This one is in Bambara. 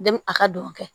a ka don o kɛ